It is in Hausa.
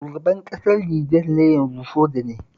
Shugaban ƙasar Nijer na yanzu soja ne